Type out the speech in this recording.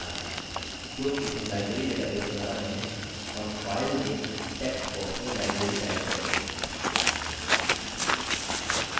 क्योंकि हम library database बना रहे हैं हम फाइल नेम टेक्स्ट बॉक्स में library टाइप करेंगे